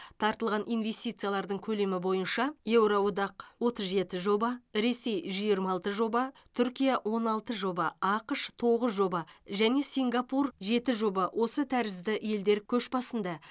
тартылған инвестициялардың көлемі бойынша евроодақ отыз жеті жоба ресей жиырма алты жоба түркия он алты жоба ақш тоғыз жоба және сингапур жеті жоба осы тәрізді елдер көш басында